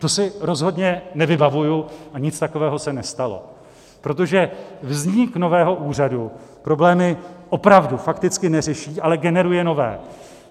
To si rozhodně nevybavuji a nic takového se nestalo, protože vznik nového úřadu problémy opravdu, fakticky neřeší, ale generuje nové.